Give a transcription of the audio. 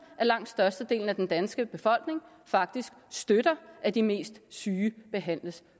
at langt størstedelen af den danske befolkning faktisk støtter at de mest syge behandles